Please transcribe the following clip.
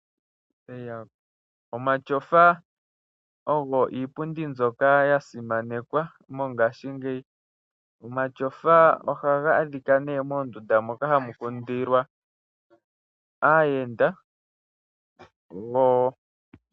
Omatyofa ogo iipundi mbyoka ya simanekwa mongashingeyi. Omatyofa ohaga adhika ne moondunda moka hamu kundilwa aayenda.